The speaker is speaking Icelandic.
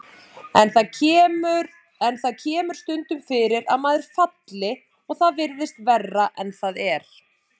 En það kemur stundum fyrir að maður falli og það virðist verra en það er.